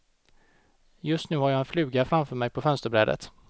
Just nu har jag en fluga framför mig på fönsterbrädet.